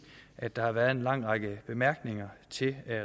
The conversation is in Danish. at der har været en lang række bemærkninger til